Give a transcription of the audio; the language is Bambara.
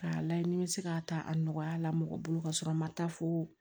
K'a layɛ ni n bɛ se k'a ta a nɔgɔya la mɔgɔ bolo ka sɔrɔ a ma taa fo